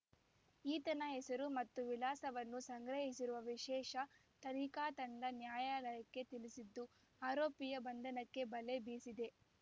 ಈತನ ಹೆಸರು ಮತ್ತು ವಿಳಾಸವನ್ನು ಸಂಗ್ರಹಿಸಿರುವ ವಿಶೇಷ ತನಿಖಾ ತಂಡ ನ್ಯಾಯಾಲಯಕ್ಕೆ ತಿಳಿಸಿದ್ದು ಆರೋಪಿಯ ಬಂಧನಕ್ಕೆ ಬಲೆ ಬೀಸಿದೆ